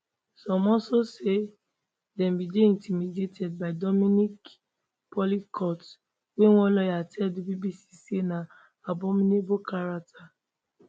some also say dem bin dey intimidated by dominique pelicot wey one lawyer tell di bbc say na abominable character